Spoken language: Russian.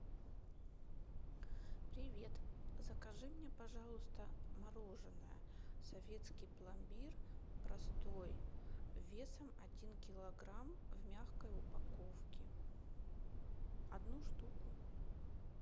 привет закажи мне пожалуйста мороженое советский пломбир простой весом один килограмм в мягкой упаковке одну штуку